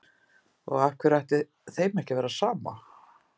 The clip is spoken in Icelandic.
Og af hverju ætti þeim ekki að vera sama?